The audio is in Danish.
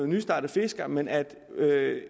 nystartet fisker men at